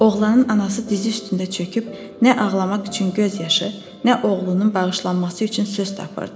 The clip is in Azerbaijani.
Oğlanın anası dizi üstündə çöküb nə ağlamaq üçün göz yaşı, nə oğlunun bağışlanması üçün söz tapırdı.